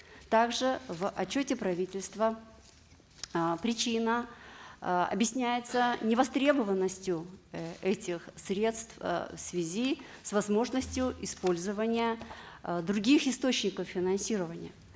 также в отчете правительства э причина э объясняется невостребованностью э этих средств э в связи с возможностью использования э других источников финансирования